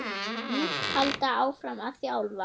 Muntu halda áfram að þjálfa?